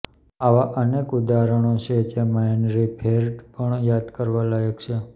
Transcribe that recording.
આવાં અનેક ઉદાહરણો છે જેમાં હેનરી ફેર્ડ પણ યાદ કરવાલાયક છે